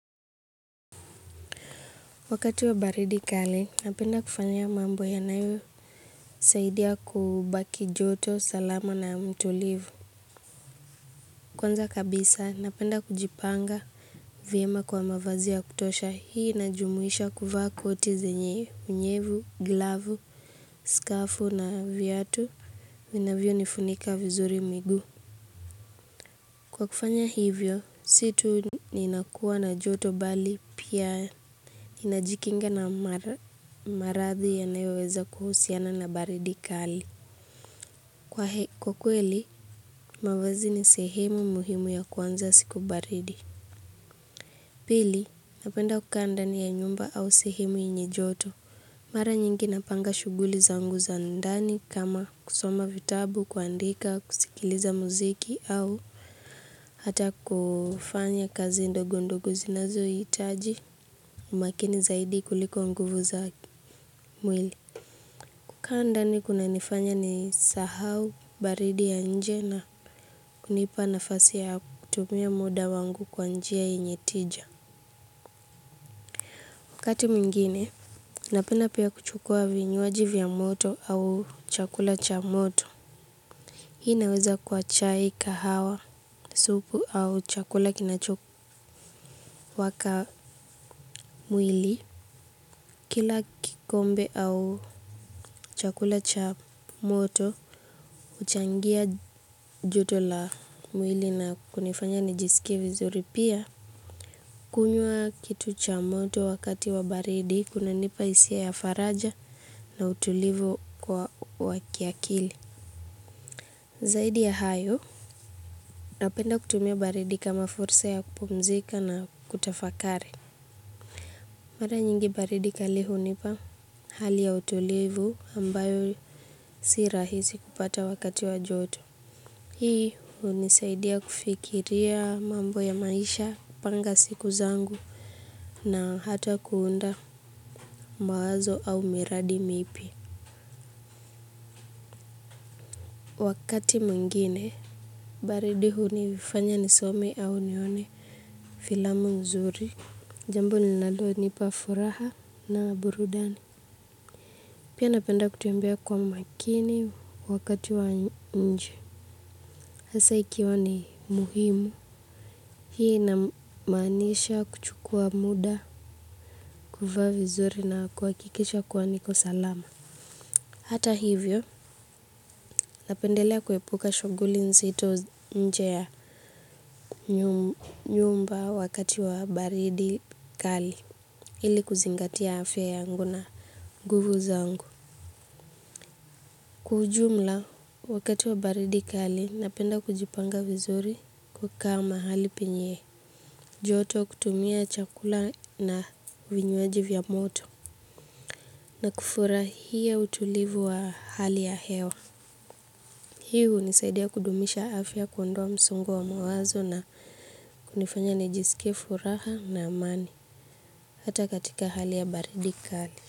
Wakati wa baridi kali, napenda kufanya mambo ya nayo. Saidia kubaki joto, salama na mtulivu. Kwanza kabisa, napenda kujipanga viema kwa mavazia kutosha. Hii inajumuisha kufa koti zenye, unyevu, glavu, skafu na vyatu. Vinavyo nifunika vizuri migu. Kwa kufanya hivyo, situ ninakuwa na joto bali pia. Inajikinga na maradhi yanayoweza kuhusiana na baridi kali. Kwa kweli, mawazi ni sehemu muhimu ya kwanza siku baridi. Pili, napenda kuka ndani ya nyumba au sehemu yenye joto. Mara nyingi napanga shuguli zangu za ndani kama kusoma vitabu, kuandika, kusikiliza muziki au hata kufanya kazi ndogo ndogo zinazoitaji. Umakini zaidi kuliko nguvu za mwili. Kuka ndani kuna nifanya ni sahau baridi ya nje na kunipa nafasi ya kutumia muda wangu kwanjia yenyetija wakati mingine, napenda pia kuchukua vinyuaji vya moto au chakula cha moto. Hii inaweza kuwa chai, kahawa, supu au chakula kinachoku waka mwili. Kila kikombe au chakula cha moto uchangia joto la mwili na kunifanya nijisikie vizuri pia. Kunyua kitu cha moto wakati wa baridi kuna nipa isia ya faraja na utulivu kwa wakiakili. Zaidi ya hayo napenda kutumia baridi kama fursa ya kupumzika na kutafakari. Mara nyingi baridi kali hunipa hali ya utulivu ambayo sirahizi kupata wakati wa joto. Hii unisaidia kufikiria mambo ya maisha panga siku zangu na hata kuunda mawazo au miradi mipia. Wakati muingine. Baridi hunifanya nisome au nione filamu nzuri. Jambo linalo nipa furaha na burudani. Pia napenda kutembea kwa makini wakati wa nje. Hasa ikiwa ni muhimu. Hii inamanisha kuchukua muda, kufa vizuri na kwa kikisha kuwa niko salama. Hata hivyo, napendelea kuhepuka shuguli nzito nje ya nyumba wakati wa baridi kali. Hili kuzingatia afya yangu na nguvu zangu. Kujumla wakati wa baridi kali napenda kujipanga vizuri kuka mahali penyee joto kutumia chakula na vinyuaji vya moto na kufura hia utulivu wa hali ya hewa. Hi unisaidia kudumisha afya kuondoa msongo wa mawazo na kunifanya nijisikie furaha na amani hata katika hali ya baridi kali.